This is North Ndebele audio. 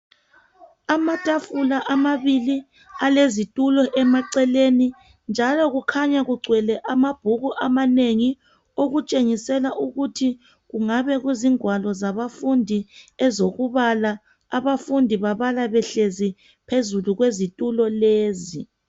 amatafula amabili alezitulo emaceleni njalo kukhanya kugcwele amabhuku amanengi okutshengisela ukuthi kungabe kuzingwalo zabafundi ezokubala abafundi babala behlezi phezulu kwezitulo lezi